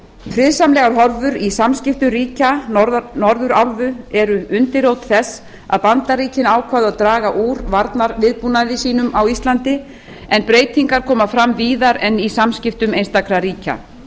friðsamlegar horfur í samskiptum ríkja norðurálfu eru undirrót þess að bandaríkin ákváðu að draga úr varnarviðbúnaði sínum á íslandi en breytingar koma fram víðar en í samskiptum einstakra ríkja